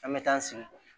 An bɛ taa an sigi